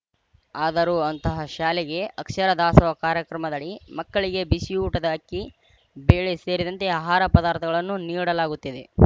ಆದರೂ ಅಂತಹ ಶಾಲೆಗೆ ಅಕ್ಷರ ದಾಸೋಹ ಕಾರ್ಯಕ್ರಮದಡಿ ಮಕ್ಕಳಿಗೆ ಬಿಸಿಯೂಟದ ಅಕ್ಕಿ ಬೇಳೆ ಸೇರಿದಂತೆ ಆಹಾರ ಪದಾರ್ಥಗಳನ್ನು ನೀಡಲಾಗುತ್ತಿದೆ